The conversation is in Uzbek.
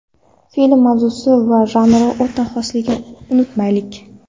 Film mavzusi va janri o‘ta xosligini unutmaylik.